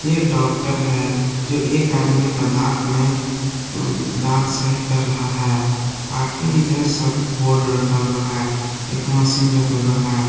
एक डॉक्टर है जो एक आदमी का दांत में दांत सही कर रहा है बाकी इधर सब बोर्ड रखा हुआ है एक मशीन रखा हुआ है।